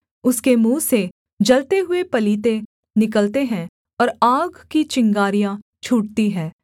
उसके मुँह से जलते हुए पलीते निकलते हैं और आग की चिंगारियाँ छूटती हैं